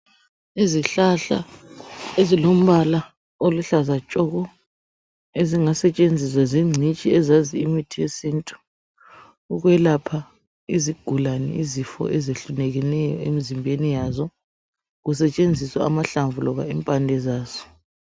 Izihlahla ezilombala oluhlaza tshoko ezingasetshenziswa zingcitshi ezazi imithi yesintu ukwelapha izigulane izifo ezehlukeneyo emzimbeni yazo. Kusetshenziswa amahlamvu loba impande zaso.